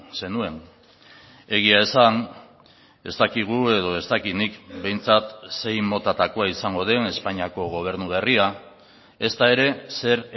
zenuen egia esan ez dakigu edo ez dakit nik behintzat zein motatakoa izango den espainiako gobernu berria ezta ere zer